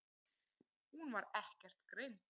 Hún var ekkert greind.